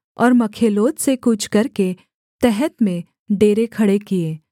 और मखेलोत से कूच करके तहत में डेरे खड़े किए